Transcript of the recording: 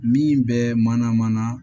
Min bɛ mana mana